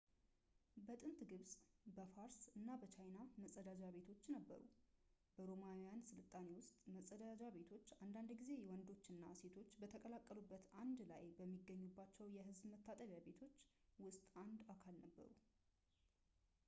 በጥንት ግብፅ ፣ በፋርስ እና በቻይና መፀዳጃ ቤቶችም ነበሩ። በሮማውያን ሥልጣኔ ውስጥ መጸዳጃ ቤቶች አንዳንድ ጊዜ ወንዶችና ሴቶች በተቀላቀሉበት አንድ ላይ በሚገኙባቸው የሕዝብ መታጠቢያ ቤቶች ውስጥ አንድ አካል ነበሩ